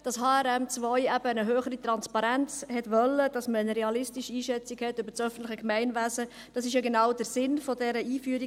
Dass HRM2 eben eine höhere Transparenz wollte, dass man eine realistische Einschätzung hat über das öffentliche Gemeinwesen, dies war genau der Sinn dieser Einführung.